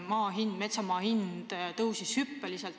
Külliki Kübarsepp, teine küsimus, palun!